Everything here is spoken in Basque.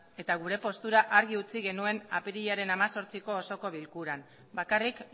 eta gure postura argi utzi genuen apirilaren hemezortziko osoko bilkuran bakarrik